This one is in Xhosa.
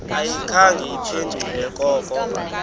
ayikhange iphendule koko